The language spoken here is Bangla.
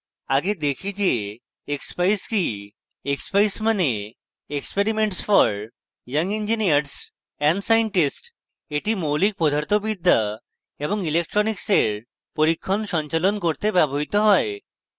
আগে দেখি যে expeyes কি